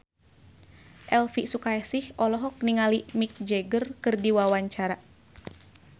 Elvi Sukaesih olohok ningali Mick Jagger keur diwawancara